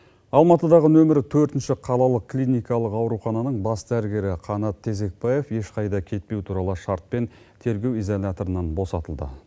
алматыдағы нөмірі төртінші қалалық клникалық аурухананың бас дәрігері қанат тезекбаев ешқайда кетпеу туралы шартпен тергеу изоляторынан босатылды